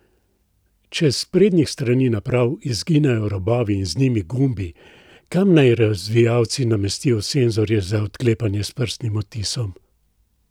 Če s sprednjih strani naprav izginejo robovi in z njimi gumbi, kam naj razvijalci namestijo senzorje za odklepanje s prstnim odtisom?